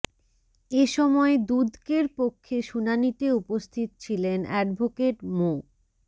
এ সময় দুদকের পক্ষে শুনানিতে উপস্থিত ছিলেন অ্যাডভোকেট মো